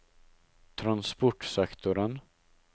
transportsektoren